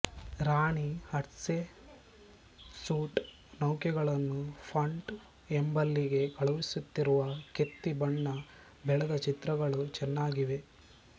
ರಾಣಿ Hatshepsut ನೌಕೆಗಳನ್ನು Punt ಎಂಬಲ್ಲಿಗೆ ಕಳುಹಿಸುತ್ತಿರುವ ಕೆತ್ತಿ ಬಣ್ಣ ಬಳೆದ ಚಿತ್ರಗಳು ಚೆನ್ನಾಗಿವೆ